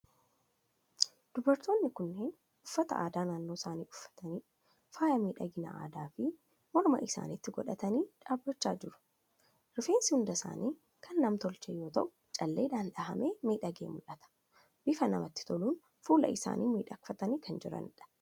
Dubartoonni kunneen uffata aadaa naannoo isaanii uffatanii, faaya miidhaginaa addaa fi morma isaaniitti godhatanii dhaabachaa jiru. Rifeensi hunda isaanii kan nam-tolchee yoo ta'u, calleedhaan dhahamee miidhagee mul'ata. Bifa namatti toluun fuula isaanii miidhagfatanii kan jiranidha.